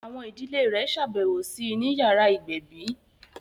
Àwọn ìdílé rẹ̀ ṣàbẹ̀wò sí I ni yàrá ìgbẹ̀bí